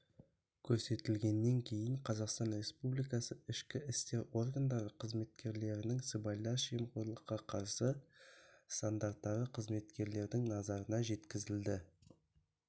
көрсетілгеннен кейін қазақстан республикасы ішкі істер органдары қызметкерлерінің сыбайлас жемқорлыққа қарсы стандарттары қызметкерлердің назарына жеткізілді